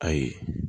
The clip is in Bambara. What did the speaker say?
Ayi